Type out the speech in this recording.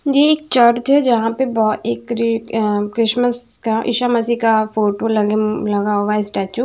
ये एक चर्च है जहां पे बहो एक क्री अ क्रिसमस का ईशा मसीह का फोटो लगे म्म लगा हुआ है स्टेचू ।